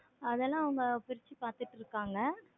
அதெல்லாம் அவங்க பிரிச்சி பார்த்துட்டு இருக்காங்க.